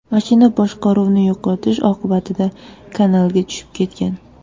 Mashina boshqaruvni yo‘qotish oqibatida kanalga tushib ketgan.